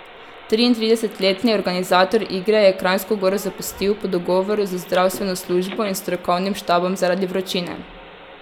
Triintridesetletni organizator igre je Kranjsko Goro zapustil po dogovoru z zdravstveno službo in strokovnim štabom zaradi vročine.